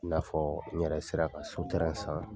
I n'a fɔɔ n yɛrɛ sera ka so san.